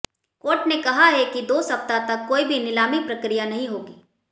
court ने कहा है कि दो सप्ताह तक कोई भी नीलामी प्रक्रिया नहीं होगी